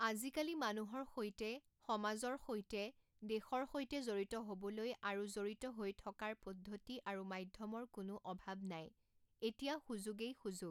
আজিকালি মানুহৰ সৈতে, সমাজৰ সৈতে, দেশৰ সৈতে জড়িত হ’ব লৈ আৰু জড়িত হৈ থকাৰ পদ্ধতি আৰিু মাধ্যমৰ কোনো অভাৱ নাই, এতিয়া সুযোগেই সুযোগ।